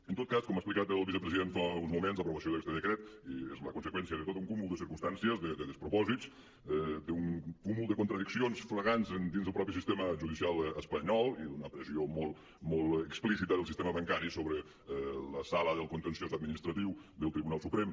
en tot cas com ha explicat el vicepresident fa uns moments l’aprovació d’aquest decret és la conseqüència de tot un cúmul de circumstàncies de despropòsits d’un cúmul de contradiccions flagrants dins del mateix sistema judicial espanyol i d’una pressió molt explícita del sistema bancari sobre la sala del contenciós administratiu del tribunal suprem